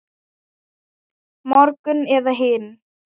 Morgun eða hinn.